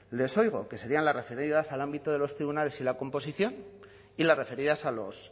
les oigo que serían las referidas al ámbito de los tribunales y la composición y las referidas a los